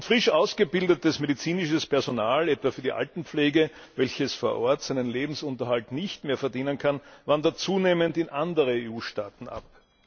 Frisch ausgebildetes medizinisches Personal, etwa für die Altenpflege, welches vor Ort seinen Lebensunterhalt nicht mehr verdienen kann, wandert zunehmend in andere EU Staaten ab.